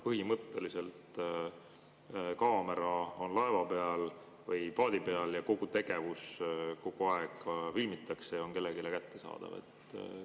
Põhimõtteliselt on kaamera laeva või paadi peal, kogu tegevust kogu aeg filmitakse ja see on kellelegi kättesaadav.